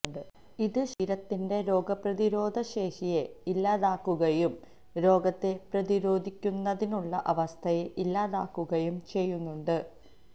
ഇത് ശരീരത്തിന്റെ രോഗപ്രതിരോധ ശേഷിയെ ഇല്ലാതാക്കുകയും രോഗത്തെ പ്രതിരോധിക്കുന്നതിനുള്ള അവസ്ഥയെ ഇല്ലാതാക്കുകയും ചെയ്യുന്നുണ്ട്